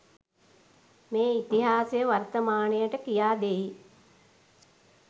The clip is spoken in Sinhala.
මේ ඉතිහාසය වර්තමානයට කියාදෙයි